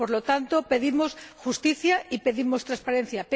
Por lo tanto, pedimos justicia y pedimos transparencia.